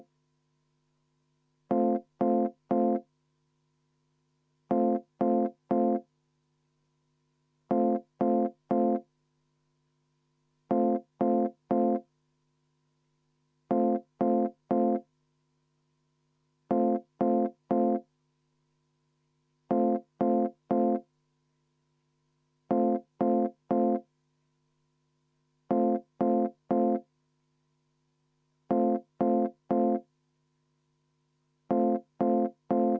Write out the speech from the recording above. Selge, hääletame seda.